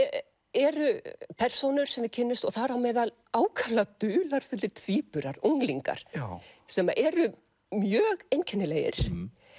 eru persónur sem við kynnumst og þar á meðal ákaflega dularfullir tvíburar unglingar sem eru mjög einkennilegir